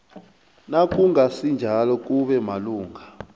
nakungasinjalo kube malungana